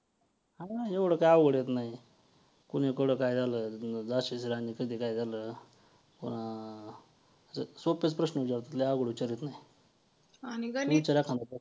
आश्याप्रकारे , चला आज आपण प्रण करूया कि जे हे व्ययाम आहे ते आपल्या आयुष्यामध्ये आपण दिवसांदिवस वाढवतच जाऊ या आणि दिवसांदिवस नवीन नवीन व्ययामाचे प्रकार शिकूया.